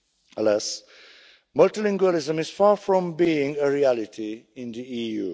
Alas, multilingualism is far from being a reality in the EU.